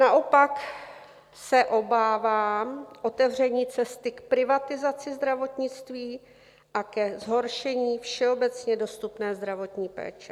Naopak se obávám otevření cesty k privatizaci zdravotnictví a ke zhoršení všeobecně dostupné zdravotní péče.